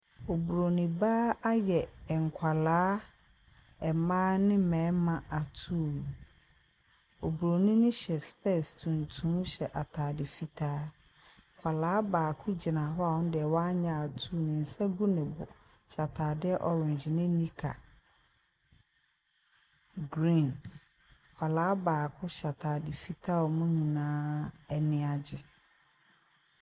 Obronin baa ayɛ nkwadaa mmaa ne mmarima atuu. Obronin no hyɛ spɛɛse tuntum hyɛ ataade fitaa. Akwadaa baako gyina hɔ a ɔno deɛ wanyɛ atuu ne nsa gu ne bo hyɛ ataade orange ne knicker green. Akwadaa baako hyɛ ataade fitaa a wɔn nyinaa ani agye.